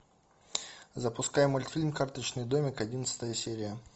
запускай мультфильм карточный домик одиннадцатая серия